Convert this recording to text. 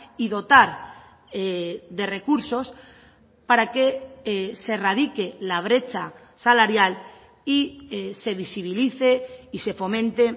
y dotar de recursos para que se radique la brecha salarial y se visibilice y se fomente